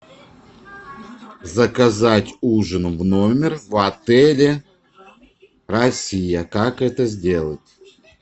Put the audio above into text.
заказать ужин в номер в отеле россия как это сделать